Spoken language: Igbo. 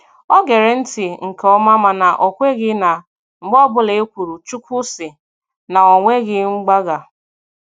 O gere ntị nke ọma mana o kweghị na mgbe ọbụla e kwuru "Chukwu sị" na o nweghị mgbagha.